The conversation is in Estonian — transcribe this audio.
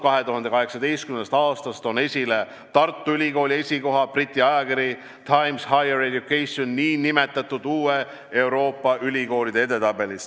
2018. aastast toon esile Tartu Ülikooli esikoha Briti ajakirja Times Higher Education nn uue Euroopa ülikoolide edetabelis.